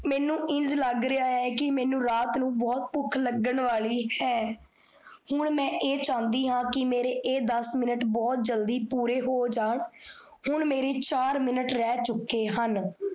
ਮੇਨੂ ਇੰਜ ਲਾਗ ਰਿਹਾ ਹੈ ਕੀ ਮੇਨੂ ਰਾਤ ਨੂ ਬੋਹੋਤ ਭੁਖ ਲਗਣ ਵਾਲੀ ਹੈ ਹੁਣ ਮੈਂ ਇਹ ਚਾਹੰਦੀ ਹਾਂ ਕੀ ਮੇਰੇ ਇਹ ਦਸ ਮਿੰਟ ਬੋਹੋਤ ਜਲਦੀ ਪੂਰੇ ਹੋ ਜਾਨ ਹੁਣ ਮੇਰੇ ਚਾਰ ਮਿੰਟ ਰਹ ਚੁਕੇ ਹਨ